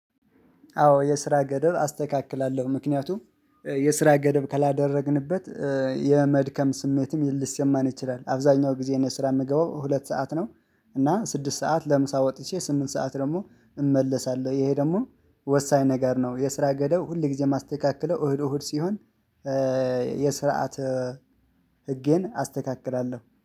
አዎ የስራ ገደብ አስተካክላለሁ ምክንያቱም የስራ ገደብ ከላደረግንበት የመድከም ስሜትም ልሰማን ይችላል አብዛኛው ጊዜ እኔ ስራ የምገባው ሁለት ሰዓት ነው። እና ስድስት ሰዓት ለምሳ ወጥቼ ስምንት ሰዓት ደግሞ እመለሳለሁ ይሄ ደግሞ ወሳኝ ነገር ነው። የስራ ገደብ ሁል ጊዜ የማስተካክለው እህል እሁድ ሲሆን የስርዓተ ህጌን አስተካክላለሁ